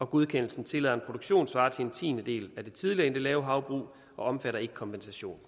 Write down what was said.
godkendelsen tillader en produktion svarende til en tiendedel af det tidligere endelavehavbrug og omfatter ikke kompensation